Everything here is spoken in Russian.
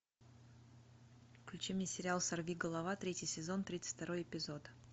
включи мне сериал сорвиголова третий сезон тридцать второй эпизод